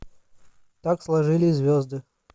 так сложились звезды